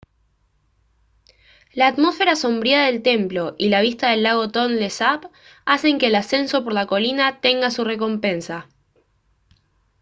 la atmósfera sombría del templo y la vista del lago tonle sap hacen que el ascenso por la colina tenga su recompensa